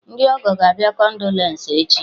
Ndị ọgọ ga-abịa kondolence echi